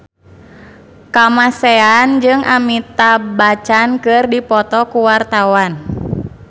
Kamasean jeung Amitabh Bachchan keur dipoto ku wartawan